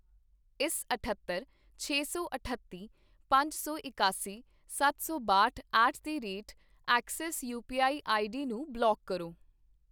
ਇਸ ਅਠੱਤਰ, ਛੇ ਸੌ ਅਠੱਤੀ, ਪੰਜ ਸੌ ਇਕਾਸਾ, ਸੱਤ ਸੌ ਬਾਹਟ at the rate Axis UPI ID ਨੂੰ ਬਲਾਕ ਕਰੋ